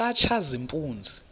katshazimpuzi